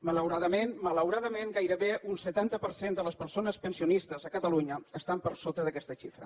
malauradament malauradament gairebé un setanta per cent de les persones pensionistes a catalunya estan per sota d’aquesta xifra